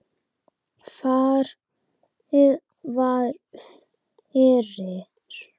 Farið var fyrir